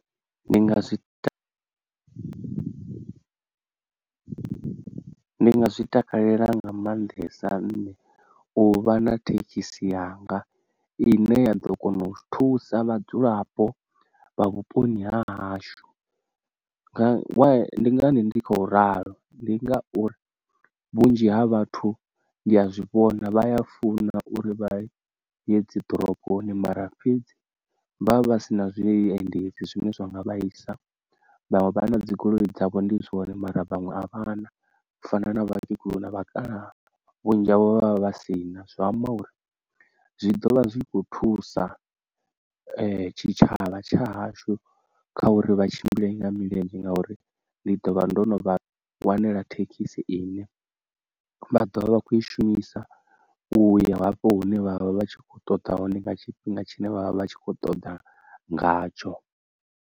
Ndi nga zwita ndi nga zwitakalela nga maanḓesa nṋe u vha na thekhisi yanga ine ya ḓo kona u thusa vhadzulapo vha vhuponi ha hashu, nga why ndi ngani ndi khou ralo, ndi ngauri vhunzhi ha vhathu ndi a zwi vhona vha a funa uri vha ye dzi ḓoroboni mara fhedzi vha vha si na zwiendedzi zwine zwanga vhaisa, vhaṅwe vha a na dzigoloi dzavho ndi zwone mara vhaṅwe a vha na u fana na vhakegulu na vhakalaha vhunzhi havho vha vha vha si na, zwi amba uri zwi ḓovha zwi kho thusa tshitshavha tsha hashu kha uri vha tshimbile nga milenzhe ngauri ndi ḓovha ndo no vha wanela thekhisi ine vha ḓovha vha kho i shumisa u ya hafho hune vhavha vhatshi kho ṱoḓa hone nga tshifhinga tshine vha vha vha tshi kho ṱoḓa ngatsho.